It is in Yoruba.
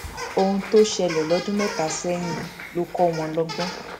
ohun tó ṣẹlẹ lọdún mẹta sẹyìn ló kọ wọn lọgbọn